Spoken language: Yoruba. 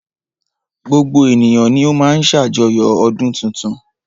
Gbogbo ènìyàn ni o má ń ṣe àjoyo ọdún tuntun.